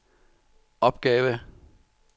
opgave